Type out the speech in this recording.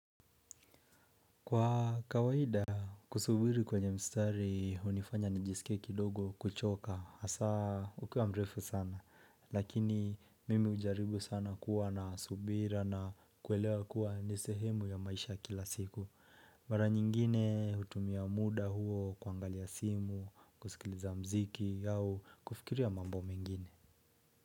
Kwa kawaida, kusubiri kwenye mstari hunifanya nijisike kidogo kuchoka hasa ukiwa mrefu sana. Lakini mimi hujaribu sana kuwa na subira na kuelewa kuwa ni sehemu ya maisha kila siku mara nyingine hutumia muda huo kuangalia simu, kusikiliza mziki au kufikiria mambo mengine.